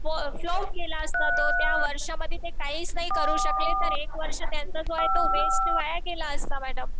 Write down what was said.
Flow गेला असता तो. त्या वर्षांमध्ये ते काहीच नाही करू शकले तर एक वर्ष त्यांचा जो आहे वेस्ट वाया गेला असता मॅडम.